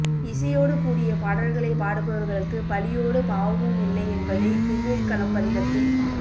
இசையோடு கூடிய பாடல்களைப் பாடுபவர்களுக்கு பழியோடு பாவமும் இல்லை என்பதை திருவேட்களம் பதிகத்தில்